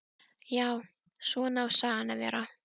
Já, svona á sagan að vera.